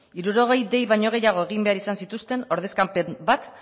hirurogei dei baino gehiago egin behar izan zituzten ordezkapen